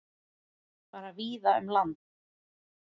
Fara víða um land